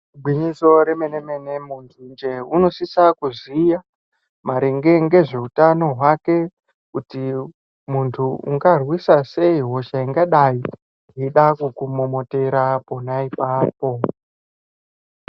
Igwinyiso remene-mene muntunjee unosisa kuziya maringe ngezveutano hwake. Kuti muntu ungarwisa sei hosha ingadai yeida kukumomotera pona ipapo.